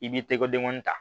I b'i tɛgɛdenkɔni ta